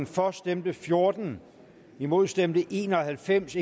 for stemte fjorten imod stemte en og halvfems